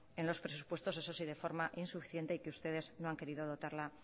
en los presupuestos eso sí de forma insuficiente y que ustedes no han querido dotarla